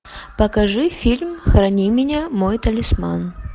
покажи фильм храни меня мой талисман